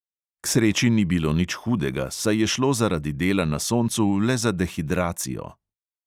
K sreči ni bilo nič hudega, saj je šlo zaradi dela na soncu le za dehidracijo.